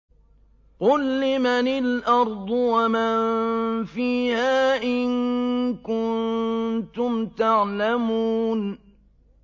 قُل لِّمَنِ الْأَرْضُ وَمَن فِيهَا إِن كُنتُمْ تَعْلَمُونَ